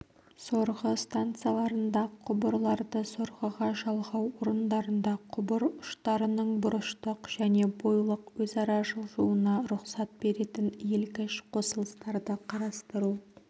сорғы станцияларында құбырларды сорғыға жалғау орындарында құбыр ұштарының бұрыштық және бойлық өзара жылжуына рұқсат беретін иілгіш қосылыстарды қарастыру